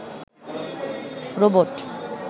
robot